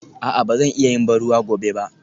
A'a ba zan iya yin ban ruwa gobe ba?